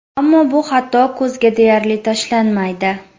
Ammo bu xato ko‘zga deyarli tashlanmaydi.